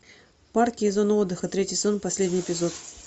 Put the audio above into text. парки и зоны отдыха третий сезон последний эпизод